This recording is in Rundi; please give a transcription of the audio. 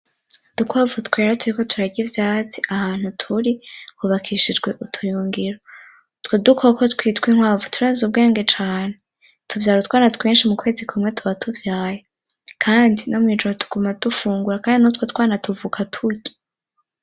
Udukwavu twera turiko turary' ivyatsi ahantu turi hubakishijwe ubuyungiro, utwo dukoko twitw' inkwavu turaz'ubwenge cane, tuvyar'utwana twinshi mukwezi kumwe tuba tuvyaye kandi no mwijoro tuguma dufungura kandi notwo twana tuvuka turya.